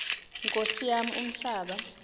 nkosi yam umhlaba